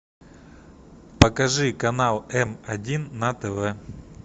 покажи канал м один на тв